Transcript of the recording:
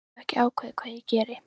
Ég hef ekki ákveðið hvað ég geri